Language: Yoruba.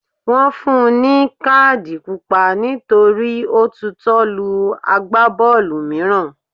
Wọn fún un ní káàdì Pupa nítorí ó tutọ́ lu Àgbábọ́ọ̀lù mìíràn.